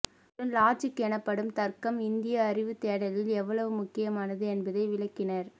அத்துடன் லாஜிக் எனப்படும் தர்க்கம் இந்திய அறிவுத் தேடலில் எவ்வளவு முக்கியமானது என்பதை விளக்கினார்